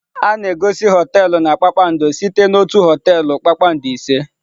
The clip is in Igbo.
A na-egosi họteelụ na kpakpando site na otu họteelụ kpakpando ise.